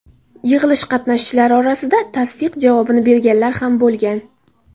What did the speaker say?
Yig‘ilish qatnashchilari orasida tasdiq javobini berganlar ham bo‘lgan.